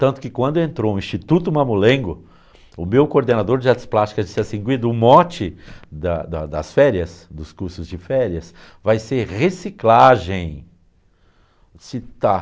Tanto que quando entrou um Instituto mamulengo, o meu coordenador de artes plásticas disse assim, Guido, o mote da da das férias, dos cursos de férias, vai ser reciclagem. Disse, tá